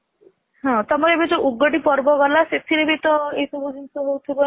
ହଁ ତମର ଏବେ ଯୋଉ ଉଗଡି ପର୍ବ ଗଲା ସେଥିରେ ବି ତ ଏ ସବୁ ଜିନିଷ ହେଉଥିବ ନା